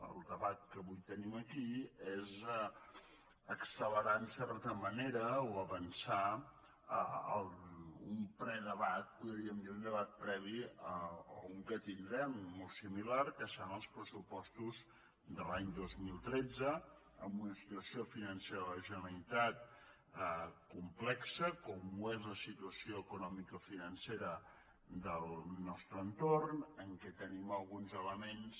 el debat que avui tenim aquí és accelerar en certa manera o avançar el predebat podríem dir un debat previ a un que tindrem de molt similar que seran els pressupostos de l’any dos mil tretze amb una situació financera de la generalitat complexa com ho és la situació economicofinancera del nostre entorn en què tenim alguns elements